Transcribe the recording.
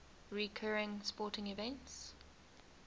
recurring sporting events